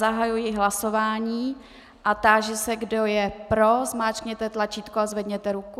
Zahajuji hlasování a táži se, kdo je pro, zmáčkněte tlačítko a zvedněte ruku.